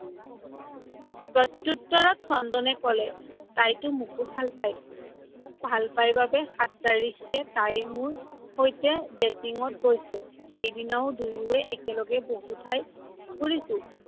প্ৰত্ত্যোতৰত চন্দনে কলে, তাইটো মোকো ভাল পাই, মোক ভাল পাই বাবেই সাত তাৰিখে তাই মোৰ সৈতে ত গৈছে, সেইদিনা দুয়োয়ে একেলগে বহু ঠাই ফুৰিছো।